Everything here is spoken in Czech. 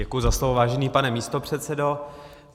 Děkuji za slovo, vážený pane místopředsedo.